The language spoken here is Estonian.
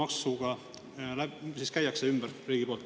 Kuidas siis riik automaksuga ümber käib?